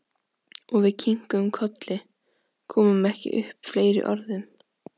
Og við kinkuðum kolli, komum ekki upp fleiri orðum.